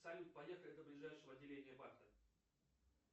салют поехали до ближайшего отделения банка